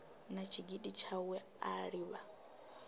na tshigidi tshawe a livha